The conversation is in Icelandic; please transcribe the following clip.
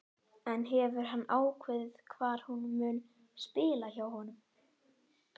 En hefur hann ákveðið hvar hún mun spila hjá honum?